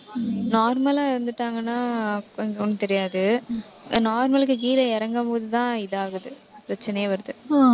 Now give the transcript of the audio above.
normal லா இருந்துட்டாங்கன்னா, கொஞ்சம் ஒண்ணும் தெரியாது normal க்கு கீழே இறங்கும் போதுதான், இதாகுது. பிரச்சனையே வருது.